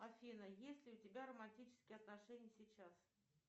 афина есть ли у тебя романтические отношения сейчас